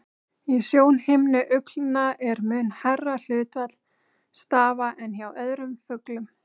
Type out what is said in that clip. Í sjónhimnu uglna er mun hærra hlutfall stafa en hjá öðrum fuglum.